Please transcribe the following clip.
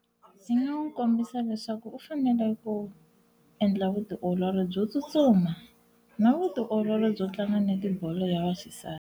Ndzi nga n'wi kombisa leswaku u fanele ku endla vutiolori byo tsutsuma na vutiolori byo tlanga netibolo ya vaxisati.